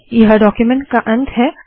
यह डाक्यूमेन्ट का अंत है